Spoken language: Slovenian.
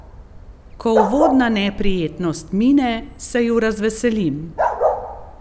Ko uvodna neprijetnost mine, se ju razveselim.